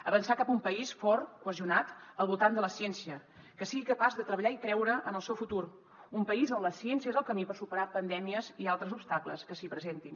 avançar cap a un país fort cohesionat al voltant de la ciència que sigui capaç de treballar i creure en el seu futur un país on la ciència és el camí per superar pandèmies i altres obstacles que s’hi presentin